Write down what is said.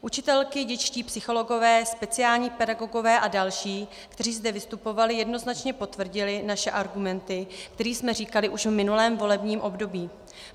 Učitelky, dětští psychologové, speciální pedagogové a další, kteří zde vystupovali, jednoznačně potvrdili naše argumenty, které jsme říkali už v minulém volebním období.